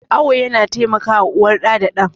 Awo yana taimakawa uwar da ɗan.